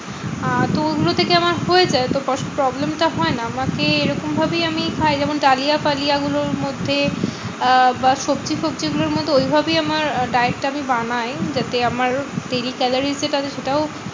আহ তো ওগুলো থেকে আমার হয়ে যায় তো কষ্ট problem টা হয় না। আমাকে এরকম ভাবেই আমি খাই যেমন ডালিয়া ফালিয়া গুলোর মধ্যে আহ সবজি ফবজি গুলোর মতো ঐভাবেই আমার diet টা আমি বানাই। যাতে আমার daily calorie যেটা আছে সেটাও